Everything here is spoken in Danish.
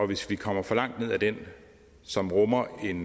hvis vi kommer for langt ned ad den som rummer en